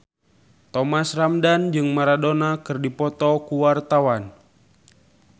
Thomas Ramdhan jeung Maradona keur dipoto ku wartawan